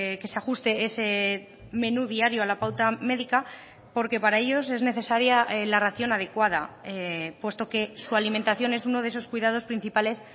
que se ajuste ese menú diario a la pauta médica porque para ellos es necesaria la ración adecuada puesto que su alimentación es uno de esos cuidados principales